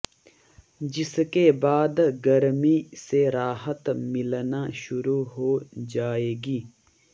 जिसके बाद गर्मी से राहत मिलना शुरू हो जाएगी